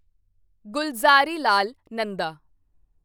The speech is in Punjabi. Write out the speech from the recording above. ਗੁਲਜ਼ਾਰੀਲਾਲ ਨੰਦਾ